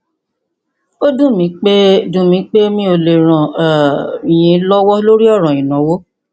ó dùn mí pé dùn mí pé mi ò lè ràn um yín lọwọ lórí ọràn ìnáwó